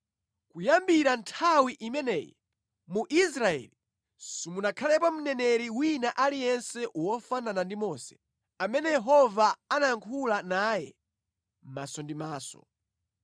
Kuyambira nthawi imeneyi, mu Israeli simunakhalepo mneneri wina aliyense wofanana ndi Mose, amene Yehova amayankhula naye maso ndi maso.